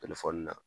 na